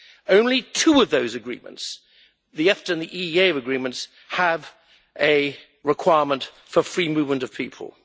Only two of those agreements the EFTA and the EEA agreements have a requirement for free movement of people.